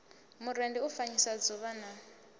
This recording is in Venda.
murendi u fanyisa dzuvha na